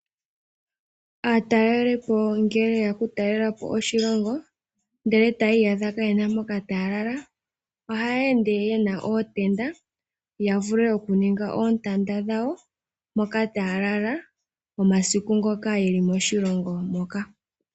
Aatalelipo ngele yeya okutalela po oshilongo ndele tayii yadha kaayena mpoka taya lala ohayeende yena ootenda yavule okuninga oontanda dhawo mpoka taalala, omasiku ngoka yeli moshilongo moka.